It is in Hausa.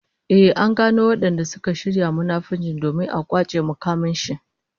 Ehh, an gano wadanda suka shirya munafunci domin a kwace mukamin shi